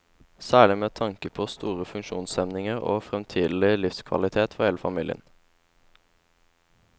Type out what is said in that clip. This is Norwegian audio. Særlig med tanke på store funksjonshemninger og fremtidig livskvalitet for hele familien.